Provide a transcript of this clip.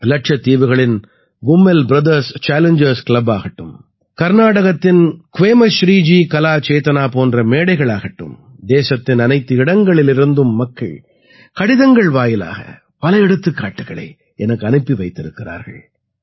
இலட்சத்தீவுகளின் Kummel brothers challengers club ஆகட்டும் கர்நாடகத்தின் க்வேமஸ்ரீ ஜி கலா சேதனா போன்ற மேடைகளாகட்டும் தேசத்தின் அனைத்து இடங்களிலிருந்தும் மக்கள் கடிதங்கள் வாயிலாக பல எடுத்துக்காட்டுக்களை எனக்கு அனுப்பி வைத்திருக்கிறார்கள்